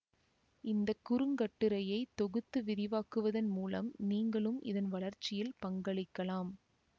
இந்த குறுங்கட்டுரையை தொகுத்து விரிவாக்குவதன் மூலம் நீங்களும் இதன் வளர்ச்சியில் பங்களிக்கலாம்